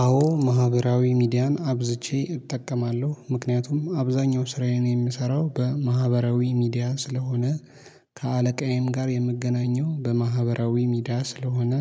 አዎ ማህበራዊ ሚዲያን አብዝቼ እጠቀማለሁ። ምክንያቱም አብዛኛው ስራዬን የምሰራው በማህበራዊ ሚዲያ ስለሆነ ከአለቃዬም ጋር የምገናኘው በማህበራዊ ሚዲያ ስለሆነ